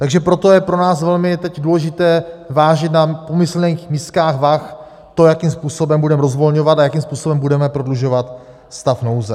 Takže proto je pro nás velmi teď důležité vážit na pomyslných miskách vah to, jakým způsobem budeme rozvolňovat a jakým způsobem budeme prodlužovat stav nouze.